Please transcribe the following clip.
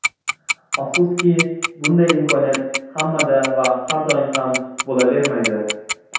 Afsuski, bunday imkoniyat hammada va har doim ham bo‘lavermaydi.